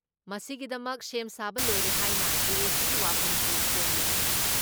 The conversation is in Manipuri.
ꯃꯁꯤꯒꯤꯗꯃꯛ ꯁꯦꯝ ꯁꯥꯕ ꯂꯣꯏꯔꯦ ꯍꯥꯏꯅ ꯖꯦ.ꯑꯦ.ꯁꯤꯒꯤ ꯋꯥꯐꯝꯁꯨ ꯐꯣꯡꯂꯤ ꯫